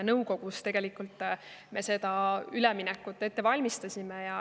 Nõukogus me koos seda üleminekut tegelikult ette valmistasime.